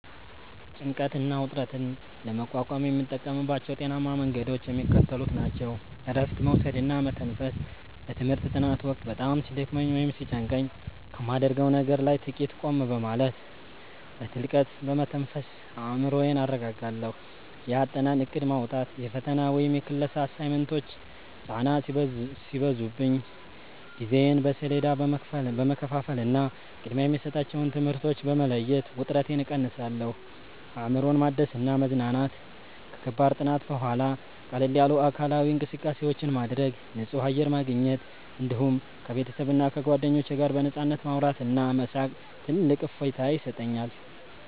ጭንቀትና ውጥረትን ለመቋቋም የምጠቀምባቸው ጤናማ መንገዶች የሚከተሉት ናቸው፦ እረፍት መውሰድና መተንፈስ፦ በትምህርት ጥናት ወቅት በጣም ሲደክመኝ ወይም ሲጨንቀኝ ከማደርገው ነገር ላይ ጥቂት ቆም በማለት፣ በጥልቀት በመተንፈስ አእምሮዬን አረጋጋለሁ። የአጠናን እቅድ ማውጣት፦ የፈተና ወይም የክላስ አሳይመንቶች ጫና ሲበዙብኝ ጊዜዬን በሰሌዳ በመከፋፈልና ቅድሚያ የሚሰጣቸውን ትምህርቶች በመለየት ውጥረቴን እቀንሳለሁ። አእምሮን ማደስና መዝናናት፦ ከከባድ ጥናት በኋላ ቀለል ያሉ አካላዊ እንቅስቃሴዎችን ማድረግ፣ ንጹህ አየር ማግኘት፣ እንዲሁም ከቤተሰብና ከጓደኞች ጋር በነፃነት ማውራትና መሳቅ ትልቅ እፎይታ ይሰጠኛል።